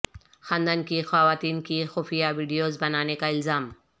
خاندان کی خواتین کی خفیہ ویڈیوز بنانے کا الزام